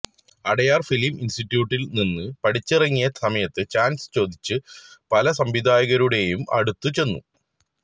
Adyar film ഇന്സ്റ്റിറ്റ്യൂട്ടില് നിന്ന് പഠിച്ചിറങ്ങിയ സമയത്ത് ചാന്സ് ചോദിച്ച് പല സംവിധായകരുടെയും അടുത്ത് ചെന്നു